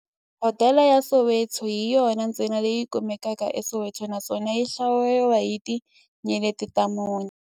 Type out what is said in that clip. Hodela ya Soweto hi yona ntsena leyi kumekaka eSoweto, naswona yi hlawuriwa hi tinyeleti ta mune.